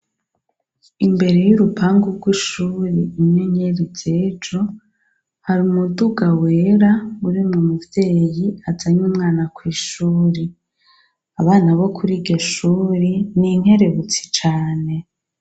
Imbere y'urupangu rw'ishure Inyenyeri z'ejo, hari umuduga wera urimwo umuvyeyi azanye umwana kw'ishure. Abana bo kuri iryo shure ni inkerebutsi cane.